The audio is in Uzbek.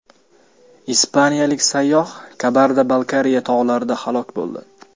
Ispaniyalik sayyoh Kabarda-Balkariya tog‘larida halok bo‘ldi.